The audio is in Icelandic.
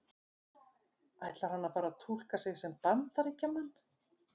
Ætlar hann að fara að túlka sig sem Bandaríkjamann?